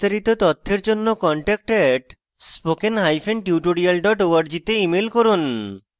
বিস্তারিত তথ্যের জন্য contact @spokentutorial org তে ইমেল করুন